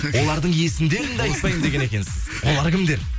олардың есімдерін де айтпаймын деген екенсіз олар кімдер